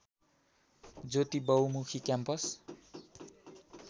ज्योति बहुमुखी क्याम्पस